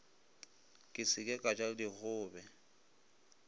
ke se ka ja dikgobe